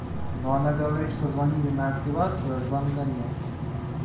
но она говорит что звонили на активацию а звонка нет